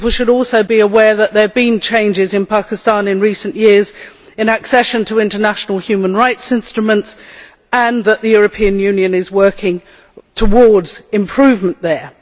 People should also be aware that there have been changes in Pakistan in recent years as regards accession to international human rights instruments, and that the European Union is working towards improvement there.